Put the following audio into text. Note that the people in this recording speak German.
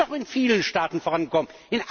Es ist doch in vielen Staaten vorangekommen.